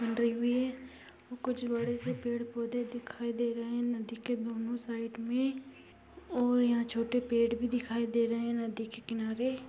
बंधी हुवी है और कुछ बड़े से पेड़ पौधे दिखाई दे रहे है नदी के दोनो साईड में और यहाँ छोटे पेड़ भी दिखाई दे रहे है नदी के किनारे।